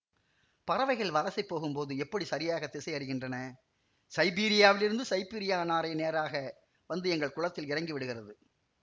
பறவைகள் வலசை போகும்போது எப்படி சரியாக திசையறிகின்றன சைபீரியாவிலிருந்து சைபீரியநாரை நேராக வந்து எங்கள் குளத்தில் இறங்கிவிடுகிறது